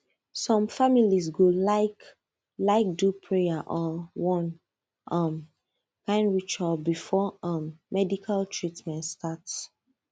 some families go like like do prayer or one um kind ritual before um medical treatment start